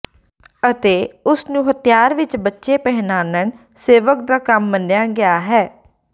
ਅਤੇ ਉਸ ਨੂੰ ਹਥਿਆਰ ਵਿੱਚ ਬੱਚੇ ਪਹਿਨਣ ਸੇਵਕ ਦਾ ਕੰਮ ਮੰਨਿਆ ਗਿਆ ਹੈ